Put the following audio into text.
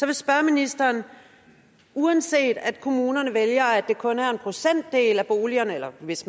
vil spørge ministeren uanset at kommunerne vælger at det kun er en procentdel af boligerne hvis